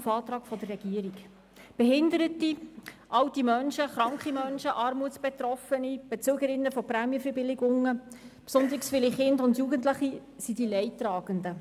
Behinderte, alte Menschen, kranke Menschen, Armutsbetroffene, Bezügerinnen von Prämienverbilligungen, besonders viele Kinder und Jugendliche sind die Leidtragenden.